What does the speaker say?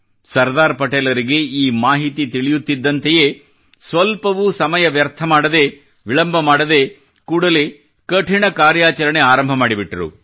ಸರ್ದಾರ್ ಪಟೇಲರಿಗೆ ಈ ಮಾಹಿತಿ ತಿಳಿಯುತ್ತಿದ್ದಂತೆಯೇ ಸ್ವಲ್ಪವೂ ಸಮಯವನ್ನು ವ್ಯರ್ಥ ಮಾಡದೇ ವಿಳಂಬ ಮಾಡದೇ ಕೂಡಲೇ ಕಠಿಣ ಕಾರ್ಯಾಚರಣೆ ಆರಂಭ ಮಾಡಿಬಿಟ್ಟರು